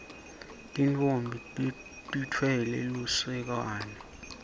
tintfombi titfwale lusekwane